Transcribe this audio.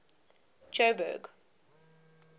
jo'burg